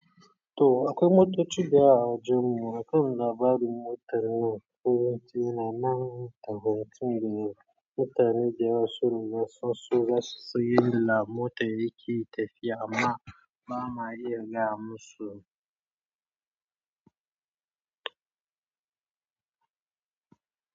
To akwai motoci da yawa a wajen mu, akwai labarin motar nan koyaushe yana nan da hukunci da mutane da yawa sun nuna son su ga siyayya mota yake tafiya amma ba ma iya ga musu.